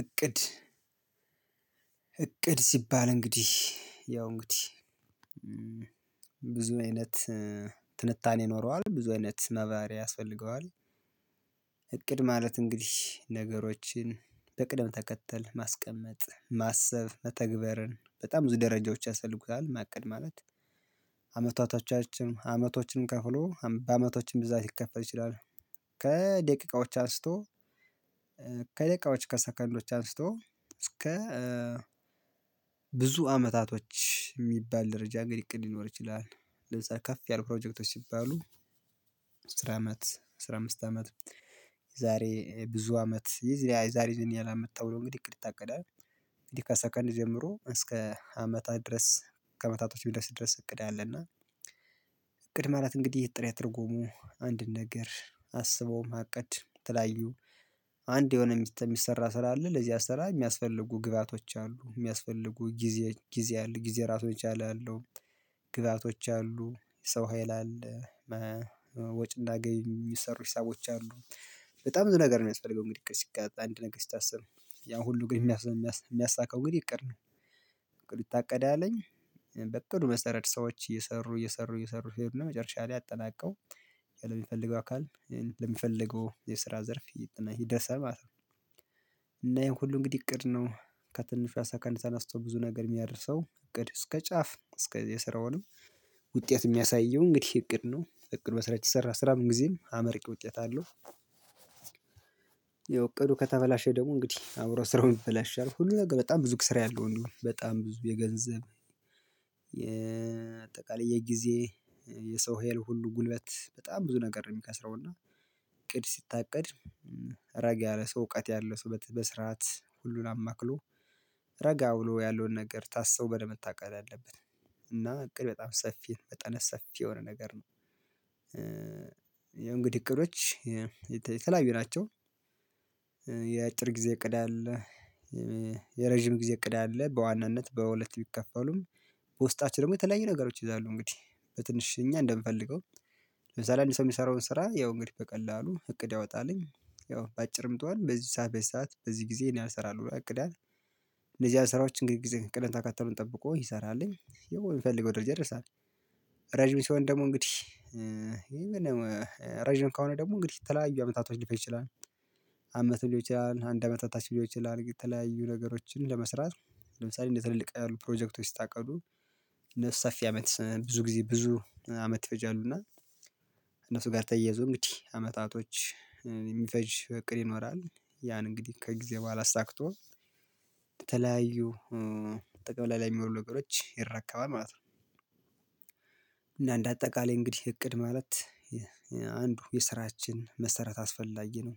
እቅድ እቅድ ሲባል እንግዲህ ያው እንግዲህ ብዙ አይነት ትንታኔ ይኖረዋል ብዙ አይነት ማብራሪያ ያስፈልገዋል። እቅድ ማለት እንግዲህ ነገሮችን በቅደም ተከተል ማስቀመጥ ማሰብ መተግበርን በጣም ብዙ ደረጃዎች ያስፈልጉታል ማቀድ ማለት። አመታቶቻችን አመቶችንም ከፍሎ በአመቶችም ብዛት ሊከፈል ይችላል። ከደቂቃዎች አስቶ ከደቂቃዎች ከሰከንዶች አንስቶ እስከ ብዙ አመታቶች የሚባል ደረጃ እንግዲህ እቅድ ሊኖር ይችላል። ለዛ ከፍ ያለ ፕሮጀክቶች ሲባሉ አስራ አመት አስራ አምስት አመት የዛሬ ብዙ አመት የዚህ የዛሬ ዘንድ ያላመጣው ነው። እንግዲህ እቅድ ይታቀዳል። እንግዲህ ከሰከንድ ጀምሮ እስከ አመታት ድረስ ከአመታቶች ድረስ ድረስ እቅድ አለና። ቅድመ እራት እንግዲህ ጥሬ ትርጉሙ አንድን ነገር አስቦ ማቀድ የተለያዩ አንድ የሆነ ሚስጥር የሚሰራ ስራ አለ ለዚያ ስራ የሚያስፈልጉ ግብአቶች አሉ የሚያስፈልጉ ጊዜ ጊዜ አለ ጊዜ ራሱን የቻለ አለው። ግዛቶች አሉ ሰው ሀይል አለ። ወጭ እና ገቢ የሚሰሩ ሂሳቦች አሉ። በጣም ብዙ ነገር የሚያስፈልገው እንግዲህ እኮ ሲቀጥል አንድ ነገር ሲታሰብ ያን ሁሉ ግን የሚያሳካው ግን እቅድ ነው። እቅዱ ይታቀዳል በእቅዱ መሰረት ሰዎች እየሰሩ እየሰሩ እየሰሩ መጨረሻ ላይ አጠናቀው ለሚፈልገው አካል ለሚፈልገው የስራ ዘርፍ ይደርሳል ነው። እና ይሄን ሁሉ እንግዲህ እቅድ ነው ከትንሿ ሰከንድ ተነስቶ ብዙ ነገር የሚያደርሰው እቅድ እስከ ጫፍ እስከ የስራውንም ውጤት የሚያሳየው እንግዲህ እቅድ ነው እቅድ መስራት ይሰራል ስራም ጊዜም አመርቂ ውጤት አለው። ያው እቅዱ ከተበላሸ ደግሞ እንግዲህ አብሮ ስራውን ይበላሻል ሁሉ ነገር በጣም ብዙ ስራ ያለው እንደው በጣም ብዙ የገንዘብ ስጠቃላይ ጊዜ የሰው ሄል ሁሉ ጉልበት በጣም ብዙ ነገር ነው የሚከስረው እና እቅድ ሲታቀድ። ረጋ ያለ ሰው እውቀት ያለ ሰው በስርዓት ሁሉን አማክሎ ረጋ ብሎ ያለውን ነገር ታስቦ በደንብ መታቀድ አለብህ። እና እቅድ በጣም ሰፊ መጠነ ሰፊ የሆነ ነገር ነው። ያው እንግዲህ እቅዶች የተለያዩ ናቸው። የአጭር ጊዜ እቅድ አለ። የረጅም ጊዜ እቅድ አለ በዋናነት በሁለት ቢከፈሉም። ፖስታችን ደግሞ የተለያዩ ነገሮች ይዛሉ እንግዲህ በትንሽ እኛ እንደምፈልገው ለምሳሌ አንድ ሰው የሚሰራውን ስራ ያው እንግዲህ በቀላሉ እቅድ ያወጣልኝ። ያው በአጭርም ትሁን በዚህ ሰዓት በዚህ ሰዓት በዚህ ጊዜ እኔ አሰራለሁ እቅዳት ለዚህ ስራዎች እንግዲህ ጊዜ ቅደም ተከተሉን ጠብቆ ይሰራልኝ የምፈልገው ድርጅት ይደርሳል። ረጅም ሲሆን ደግሞ እንግዲህ ረጅም ከሆነ ደግሞ እንግዲህ የተለያዩ አመታቶች ሊፈጅ ይችላል። አመት ሊሆል ይችላል አንድ አመት በታች ሊሆን ይችላል የተለያዩ ነገሮችን ለመስራት ለምሳሌ እንደ ትልልቅ ያሉ ፕሮጀክቶች ስታቀርቡ ሰፊ አመት ብዙ ጊዜ ብዙ አመት ይፈጃሉ እና። እነሱ ጋር ተያይዞ እንግዲህ አመታቶች የሚፈጅ እቅድ ይኖራል። ያን እንግዲህ ከጊዜ በኋላ አሳክቶ በተለያዩ ጠቅላላ የሚወልድ ነገሮች ይረከባል ማለት ነው። እና እንደ አጠቃላይ እንግዲህ እቅድ ማለት አንዱ የስራችን መሰረት አስፈላጊ ነው።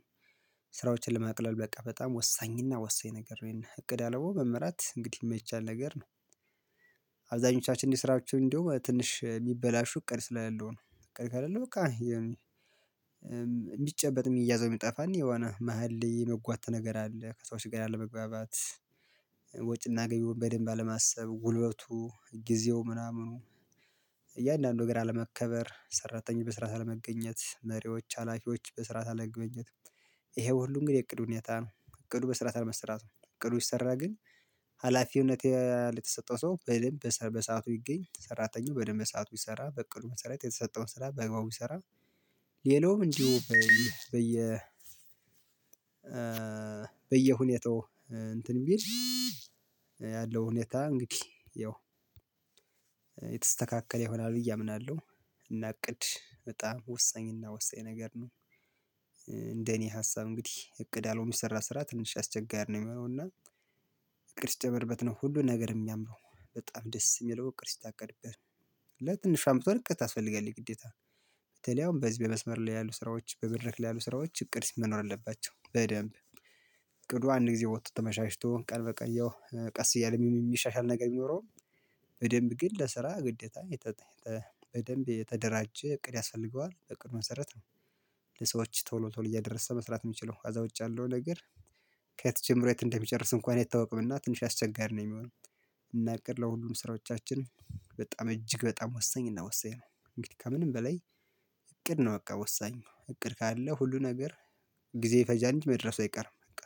ስራዎችን ለማቅለል በቃ በጣም ወሳኝና ወሳኝ ነገር እቅድ አልቦ መመራት እንግዲህ የማይቻል ነገር ነው። አብዛኞቻችን እንዲስራችሁ እንዲሁ ትንሽ የሚበላሹ ቀን ስራ ያለው ነው። ቀን ካለህ በቃ የሚጨበጥ የሚያዘው የሚጠፋን የሆነ መሃል ላይ የመጓተት ነገር አለ። ከሰዎች ጋር አለመግባባት። ወጪና ገቢውን በደንብ አለማሰብ ጉልበቱ ጊዜው ምናምኑ እያንዳንዱ ነገር አለመከበር ሰራተኞች በስራ አለመገኘት መሪዎች ሀላፊዎች በስርዓት አለመገኝት። ይሄ ሁሉ እንግዲህ እቅድ ሁኔታ ነው እቅዱ በስራት አለመሰራቱ ነው እቅዱ ቢሰራ ግን። ሀላፊውነት የተሰጠው ሰው በደንብ በሰአቱ ቢገኝ ሰራተኛው በደንብ በሰአቱ ቢሰራ በቅርብ መሰረት የተሰጠውን ስራ በግባው ይሰራል ሌላውም እንዲሁ በየ በየ በየሁኔታው እንትን የሚል ያለው ሁኔታ እንግዲህ ያው የተስተካከለ ይሆናል ብዬ አምናለሁ። እና እቅድ በጣም ወሳኝና ወሳኝ ነገር ነው። እንደኔ ሀሳብ እንግዲህ እቅድ አለው የሚሰራ ስራ ትንሽ አስቸጋሪ ነው የሚሆነው እና። እቅድ ሲጨመርበት ነው ሁሉን ነገር የሚያምረው በጣም ደስ የሚለው ቅርስ ሲታቀድብህ። ለትንሽ አምጥቶ ርቀት ታስፈልጋለህ ግዴታ በተለይ አሁን በህዝብ መስመር ላይ ያሉ ስራዎች በመድረክ ያሉ ስራዎች እቅድ ውስጥ መኖር አለባቸው በደንብ እቅዱ አንድ ጊዜ ወጥቶ ተመሻሽቶ ቀልበ ቀየው ቀስ እያለም የሚሻሻል ነገር የሚኖረው። በደንብ ግን ለስራ ግዴታ በደንብ የተደራጀ እቅድ ያስፈልገዋል በእቅድ መሰረት ነው። ለሰዎች ቶሎ ቶሎ እያደረሰ መስራት የምችለው አዛ ውጭ ያለው ነገር። ከየት ጀምሮ የት እንደሚጨርስ እንኳን አይታወቅም። እና ትንሽ አስቸጋሪ ነው የሚሆነው። እና እቅድ ለሁሉም ስራዎቻችን በጣም እጅግ በጣም ወሳኝ እና ወሳኝ ነው። እንግዲህ ከምንም በላይ እቅድ ነው። በቃ ወሳኝ እቅድ ካለ ሁሉ ነገር ጊዜ ይፈጃል እንጅ መድረሱ አይቀርም። በቃ